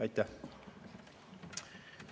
Aitäh!